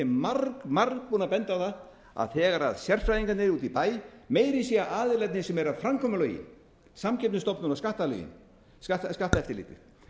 er mér margbúinn að benda á að þegar sérfræðingarnir úti í bæ meira að segja aðilarnir sem eru að framkvæma lögin samkeppnisstofnun og skatteftirlitið þegar þeir eru að